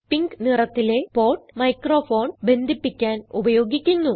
pink നിറത്തിലെ port microphone ബന്ധിപ്പിക്കാൻ ഉപയോഗിക്കുന്നു